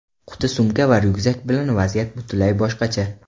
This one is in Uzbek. Quti-sumka va ryukzak bilan vaziyat butunlay boshqacha.